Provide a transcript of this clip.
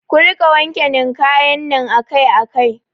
Ku rika wanke ninkayan nan akai akai